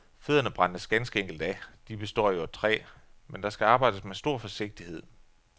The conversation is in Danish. Fødderne brændes ganske enkelt af, de består jo af træ, men der skal arbejdes med stor forsigtighed.